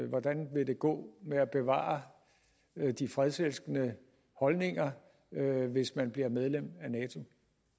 hvordan det vil gå med at bevare de fredselskende holdninger hvis man bliver medlem af nato